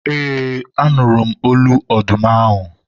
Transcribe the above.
eee, a nụrụ m olu ọdụm ahụ